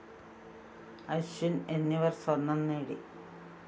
അശ്വിന്‍ എന്നിവര്‍ സ്വര്‍ണം നേടി